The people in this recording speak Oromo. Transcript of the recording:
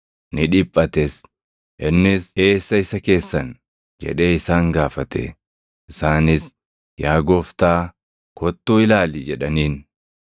Innis, “Eessa isa keessan?” jedhee isaan gaafate. Isaanis, “Yaa Gooftaa, kottuu ilaali” jedhaniin.